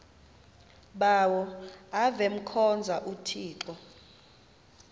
bawo avemkhonza uthixo